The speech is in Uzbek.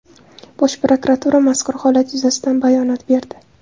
Bosh prokuratura mazkur holat yuzasidan bayonot berdi.